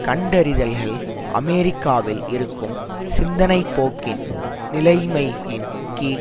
கண்டறிதல்கள் அமெரிக்காவில் இருக்கும் சிந்தனை போக்கின் நிலைமையின் கீழ்